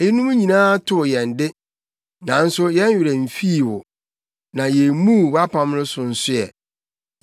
Eyinom nyinaa too yɛn de, nanso yɛn werɛ mfii wo, na yemmuu wʼapam no nso so ɛ.